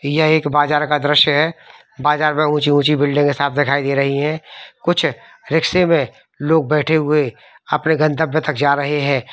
यह एक बाजार का दृश्य है | बाजार में ऊंची -ऊंची बिल्डिंग साफ दिखाई दे रही हैं कुछ रिक्शे में लोग बैठे हुए अपने गन्तव्य तक जा रहे हैं।